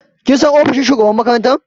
Kin san ofis na shugaban makaranta?